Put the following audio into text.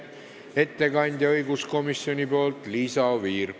Ettekandja õiguskomisjoni nimel on Liisa Oviir.